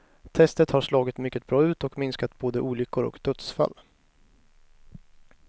Testet har slagit mycket bra ut och minskat både olyckor och dödsfall.